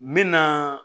N mɛna